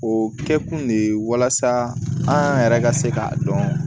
O kɛkun de ye walasa an yɛrɛ ka se k'a dɔn